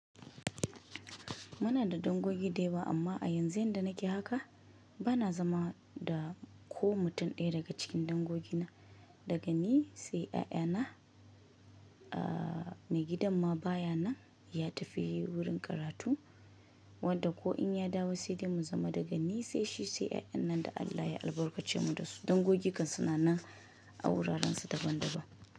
Munada dangogi da yawa amma a yanzu yanda nake haka bana zama dako mutum ɗaya daga cikin dangogi na. Dagani sai yayana, aa me gidan mabayanan yatafi wurin karatu wadda ko inya dawo saidai mu zama dagani saishi sai yayannan da Allah ya albarkacemu dasu. Dangogi kan sunanan a wuraransu daban daban.